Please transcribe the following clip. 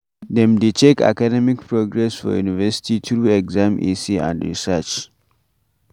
Dem dey check academic progress for university through exam essay and research